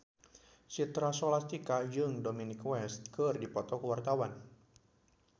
Citra Scholastika jeung Dominic West keur dipoto ku wartawan